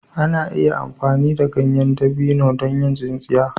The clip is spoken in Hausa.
Ana iya amfani da ganyen dabino don yin tsintsiya.